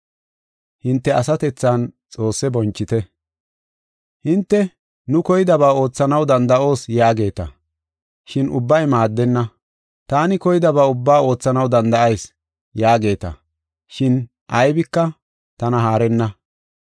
Hinte, “Nu koydaba oothanaw danda7oos” yaageeta. Shin ubbay maaddenna. “Taani koydaba ubba oothanaw danda7ayis” yaageeta. Shin aybika tana haarenna.